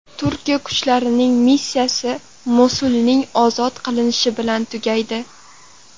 Turkiya kuchlarining missiyasi Mosulning ozod qilinishi bilan tugaydi”.